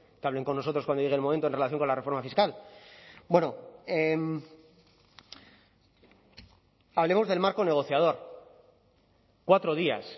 no que hablen con nosotros cuando llegue el momento en relación con la reforma fiscal bueno hablemos del marco negociador cuatro días